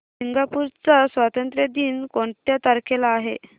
Singapore चा स्वातंत्र्य दिन कोणत्या तारखेला आहे